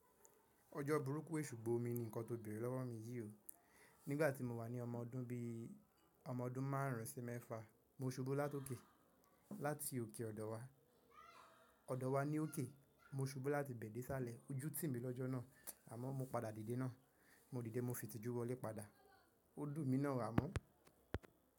Ojo burúkú èsù gbó omi ni nkán tó béèrè lọ́wọ́ mi yìí o. Nígbà tí mo wà ní ọmọ ọdún bí i ọmọ ọdún márùn ún sí mẹ́fà, mo subú láti òkè, láti òkè ọ̀dọ̀ wa. Ọ̀dọ̀ wa ní òkè, mo subú láti bẹ̀ dé sálẹ̀, ó jú tì mí lọ́jọ́ náà, àmọ́ mo padà dìde náà. Mo dìde, mo fi ìtìjú wọlé padà. Ó dùn mi náà àmọ́